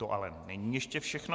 To ale není ještě všechno.